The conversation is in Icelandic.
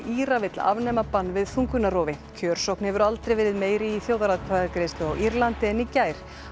Íra vill afnema bann við þungunarrofi kjörsókn hefur aldrei verið meiri í þjóðaratkvæðagreiðslu á Írlandi en í gær